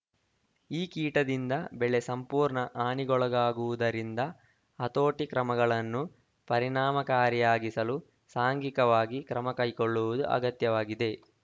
ಈ ಕೀಟದಿಂದ ಬೆಳೆ ಸಂಪೂರ್ಣ ಹಾನಿಗೊಳಗಾಗುವುದರಿಂದ ಹತೋಟಿ ಕ್ರಮಗಳನ್ನು ಪರಿಣಾಮಕಾರಿಯಾಗಿಸಲು ಸಾಂಘಿಕವಾಗಿ ಕ್ರಮ ಕೈಗೊಳ್ಳುವುದು ಅಗತ್ಯವಾಗಿದೆ